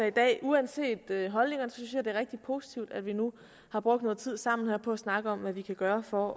i dag uanset holdningerne synes jeg det er rigtig positivt at vi nu har brugt noget tid sammen her på at snakke om hvad vi kan gøre for